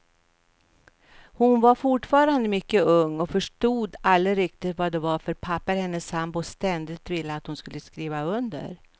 Hon var fortfarande mycket ung och förstod aldrig riktigt vad det var för papper hennes sambo ständigt ville att hon skulle skriva under.